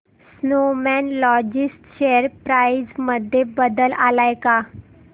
Snowman Logistics share price मध्ये बदल आलाय का